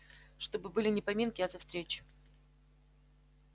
чтобы были не поминки а за встречу